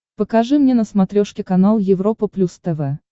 покажи мне на смотрешке канал европа плюс тв